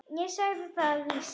Ég sagði það víst.